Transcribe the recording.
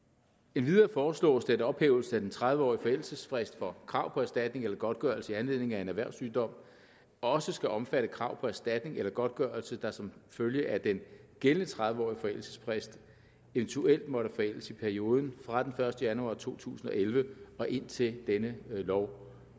endvidere foreslås det at ophævelsen af den tredive årige forældelsesfrist for krav på erstatning eller godtgørelse i anledning af en erhvervssygdom også skal omfatte krav på erstatning eller godtgørelse der som følge af den gældende tredive årige forældelsesfrist eventuelt måtte forældes i perioden fra den første januar to tusind og elleve og indtil denne lov